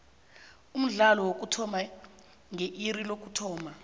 umdlalo uyokuthoma nge iri lokuthoma